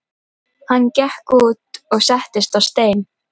Hann gekk út og settist á stein.